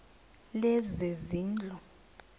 lezezindlu